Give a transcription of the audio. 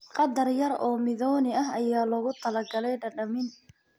Qadar yar oo mithoni ah ayaa loogu talagalay dhadhamin.